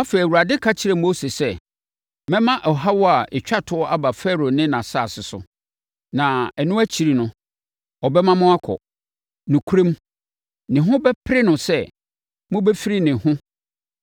Afei, Awurade ka kyerɛɛ Mose sɛ, “Mɛma ɔhaw a ɛtwa toɔ aba Farao ne nʼasase so. Na ɛno akyiri no, ɔbɛma mo akɔ. Nokorɛm, ne ho bɛpere no sɛ mobɛfiri ne ho